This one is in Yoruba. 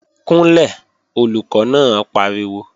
Kúnlẹ̀, Olùkọ́ náà pariwo!